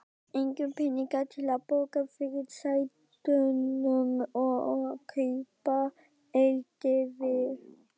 Engir peningar til að borga fyrirsætunum og kaupa eldivið.